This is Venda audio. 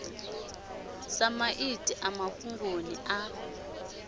sa maiti a mafhungoni a